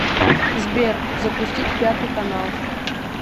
сбер запустить пятый канал